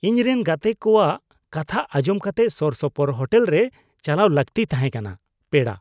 ᱤᱧᱨᱮᱱ ᱜᱟᱛᱮ ᱠᱚᱣᱟᱜ ᱠᱟᱛᱷᱟ ᱟᱧᱡᱚᱢ ᱠᱟᱛᱮ ᱥᱳᱨᱥᱳᱯᱳᱨ ᱦᱳᱴᱮᱞ ᱨᱮ ᱪᱟᱞᱟᱣ ᱞᱟᱹᱠᱛᱤ ᱛᱟᱦᱮᱸ ᱠᱟᱱᱟ (ᱯᱮᱲᱟ)